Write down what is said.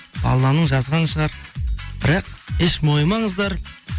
алланың жазғаны шығар бірақ еш мойымаңыздар